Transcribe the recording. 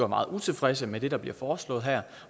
meget utilfreds med det der bliver foreslået her